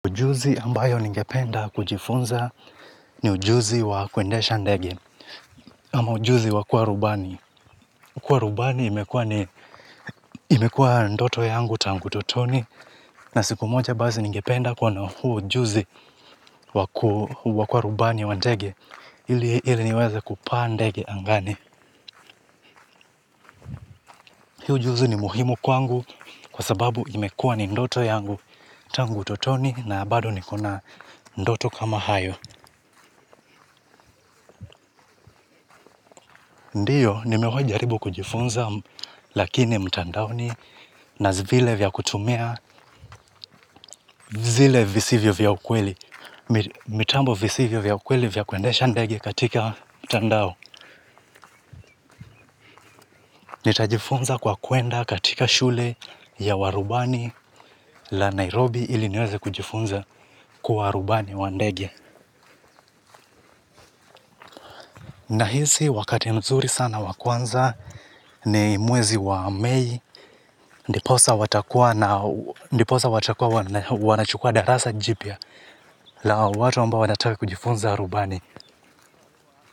Ujuzi ambao ningependa kujifunza ni ujuzi wa kuendesha ndege, ama ujuzi wa kuwa rubani. Kuwa rubani imekuwa ni ndoto yangu tangu utotoni, na siku moja basi ningependa kuwa na huu ujuzi wa kuwa rubani wa ndege, ili niweze kupaa ndege angani. Hii ujuzi ni muhimu kwangu kwa sababu imekuwa ni ndoto yangu tangu utotoni, na bado nikona ndoto kama hayo. Ndiyo, nimewai jaribu kujifunza lakini mtandaoni na vile vya kutumia zile visivyo vya ukweli. Mitambo visivyo vya ukweli vya kuendesha ndege katika mtandao. Nitajifunza kwa kwenda katika shule ya warubani la Nairobi ili niweze kujifunza kwa warubani wa ndegi. Nahisi wakati mzuri sana wa kwanza ni mwezi wa mei. Ndiposa watakua wanachukua darasa jipya la watu ambao wanataka kujifunza rubani.